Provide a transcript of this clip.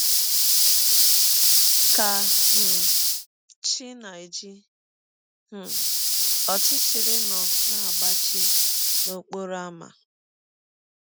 Ka um chi na - eji um, ọchịchịrị nọ na - agbachi n’ọkpọrọ ámá.